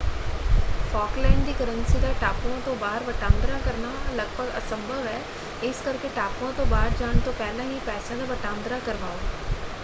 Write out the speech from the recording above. Falkland ਦੀ currency ਦਾ ਟਾਪੂਆਂ ਤੋਂ ਬਾਹਰ ਵਟਾਂਦਰਾ ਕਰਨਾ ਲਗਭਗ ਅਸੰਭਵ ਹੈ ਇਸ ਕਰਕੇ ਟਾਪੂਆਂ ਤੋਂ ਬਾਹਰ ਜਾਣ ਤੋਂ ਪਹਿਲਾਂ ਹੀ ਪੈਸਿਆਂ ਦਾ ਵਟਾਂਦਰਾ ਕਰਵਾਓ।